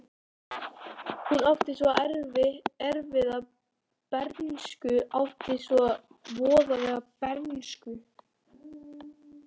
Hún átti svo erfiða bernsku, átti svo voðalega bernsku.